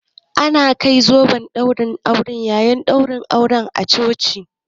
Ana kai zoben aure a yayin ɗaurin aure a coci